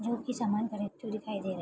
जो की सामन खरीदते हुए दिखाई दे रहे।